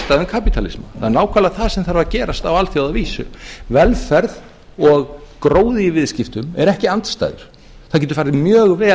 það er nákvæmlega það sem þarf að gerast á alþjóðavísu velferð og gróði í viðskiptum eru ekki andstæður það getur farið mjög vel